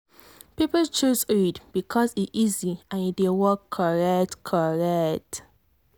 people choose iud well because e easy and e dey work correct. correct.